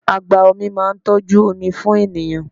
Agba-omi máa ń tọ́jú omi fún ènìyàn.